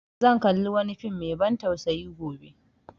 Zan kalli wani fim mai ban tsausayi gobe